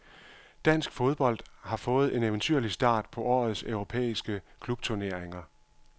Dansk fodbold har fået en eventyrlig start på årets europæiske klubturneringer.